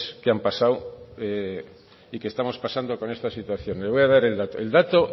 que han pasado y que estamos pasando con esta situación le voy a dar el dato